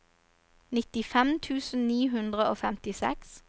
nittifem tusen ni hundre og femtiseks